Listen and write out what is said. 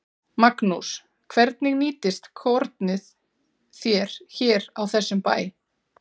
Magnús: Hvernig nýtist kornið þér hér á þessum bæ?